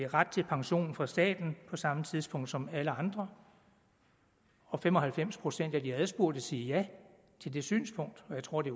ret til pension fra staten på samme tidspunkt som alle andre fem og halvfems procent af de adspurgte siger ja til det synspunkt og jeg tror det